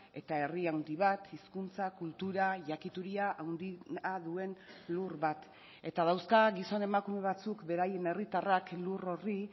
eta herri handi bat hizkuntza kultura jakituria handia duen lur bat eta dauzka gizon emakume batzuk beraien herritarrak lur horri